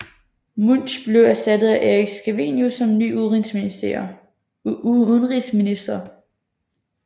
Munch blev erstattet af Erik Scavenius som ny udenrigsminister